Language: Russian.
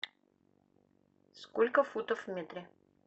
сколько футов в метре